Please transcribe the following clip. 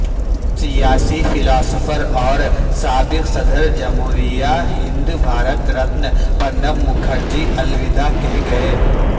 سیاسی فلاسفر اور سابق صدر جمہوریہ ہند بھارت رتن پرنب مکھرجی الوداع کہہ گیے